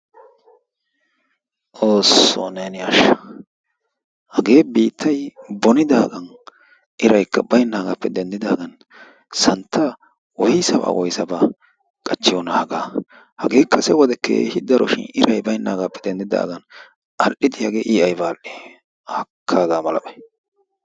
Xoossoo neeni ashsha. hagee biittay bonidaagan iraykka baynaagappe denddidaagan santtaa woysabaa woysabaa qachchiyoonaa hagaa. hagee kase wode keehi daro shin iray baynnaagappe dendidaagan al"idi i hagee ayba al"ii? haakka hagaa malabay.